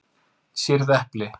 Sýrð epli